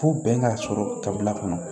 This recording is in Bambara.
Fo bɛn ka sɔrɔ kabila kɔnɔ